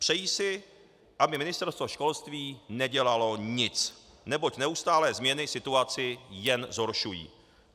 Přejí si, aby Ministerstvo školství nedělalo nic, neboť neustálé změny situaci jen zhoršují.